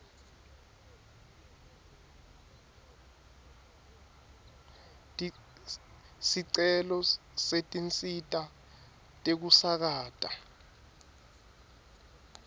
sicelo setinsita tekusakata